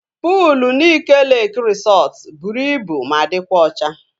Puul Nike Leeki resọtu bụrụ ibu ma dịkwa ocha